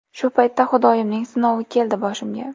Shu paytda Xudoyimning sinovi keldi boshimga.